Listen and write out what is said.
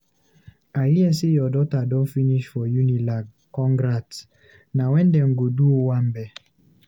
I hear sey your daughter don finish for UNILAG—congrats! Na wen dem go do di owambe?